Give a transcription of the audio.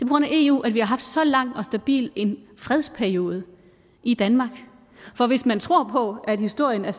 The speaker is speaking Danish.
grund af eu at vi har haft en så lang og stabil fredsperiode i danmark for hvis man tror på at historien er